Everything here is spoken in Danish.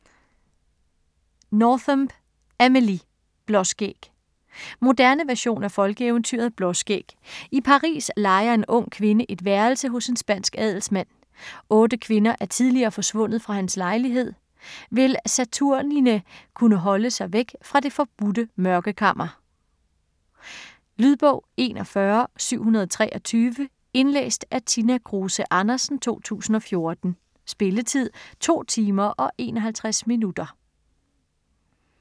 Nothomb, Amélie: Blåskæg Moderne version af folkeeventyret Blåskæg. I Paris lejer en ung kvinde et værelse hos en spansk adelsmand. Otte kvinder er tidligere forsvundet fra hans lejlighed - vil Saturnine kunne holde sig væk fra det forbudte mørkekammer? Lydbog 41723 Indlæst af Tina Kruse Andersen, 2014. Spilletid: 2 timer, 51 minutter.